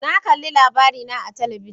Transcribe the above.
Na kalli LABARINA a talabijin.